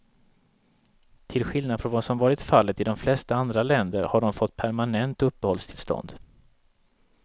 Till skillnad från vad som varit fallet i de flesta andra länder har de fått permanent uppehållstillstånd.